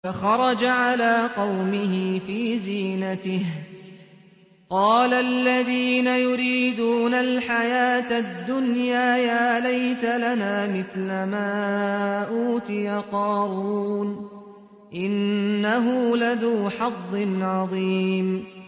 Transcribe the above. فَخَرَجَ عَلَىٰ قَوْمِهِ فِي زِينَتِهِ ۖ قَالَ الَّذِينَ يُرِيدُونَ الْحَيَاةَ الدُّنْيَا يَا لَيْتَ لَنَا مِثْلَ مَا أُوتِيَ قَارُونُ إِنَّهُ لَذُو حَظٍّ عَظِيمٍ